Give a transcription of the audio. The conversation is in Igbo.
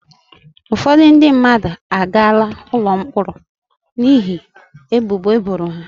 Ụfọdụ ndị mmadụ agaala ụlọ mkpọrọ n'ihi ebubo eboro ha.